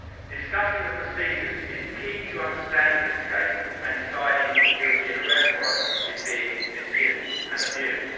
Discussing the procedures is key to understanding this case and deciding if the European Arrest Warrant is being misused and abused.